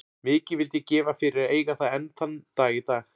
Mikið vildi ég gefa fyrir að eiga það enn þann dag í dag.